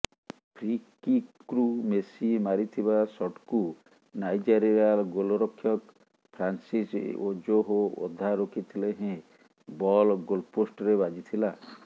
ଫ୍ରିକିକ୍ରୁ Messi ମାରିଥିବା ସଟ୍କୁ Nigeria ଗୋଲ୍ରକ୍ଷକ ଫ୍ରାନ୍ସିସ୍ ଓଜୋହୋ ଅଧା ରୋକିଥିଲେ ହେଁ ବଲ୍ ଗୋଲ୍ପୋଷ୍ଟରେ ବାଜିଥିଲା